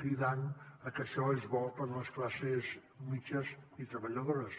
cridant que això és bo per a les classes mitjanes i treballadores